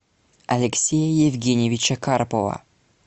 алексея евгеньевича карпова